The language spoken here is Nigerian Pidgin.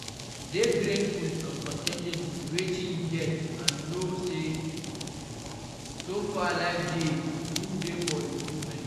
Dey greatful and con ten ted with wetin you get and know sey so far life dey room dey for improvement